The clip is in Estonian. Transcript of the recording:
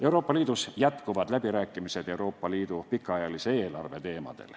Euroopa Liidus jätkuvad läbirääkimised Euroopa Liidu pikaajalise eelarve teemadel.